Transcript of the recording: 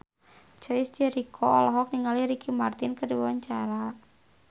Chico Jericho olohok ningali Ricky Martin keur diwawancara